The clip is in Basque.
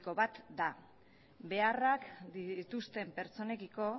bat da beharrak dituzten pertsonekiko